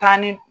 Taa ni